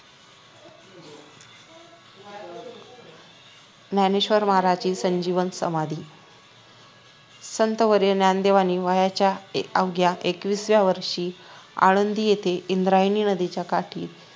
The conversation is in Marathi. ज्ञानेश्वर महाराजांची संजीवन समाधी संतवर्य ज्ञानदेवांनी वयाच्या अवघ्या एकविसाव्या वर्षी आळंदी येथे इंद्रायणी नदीच्या काठी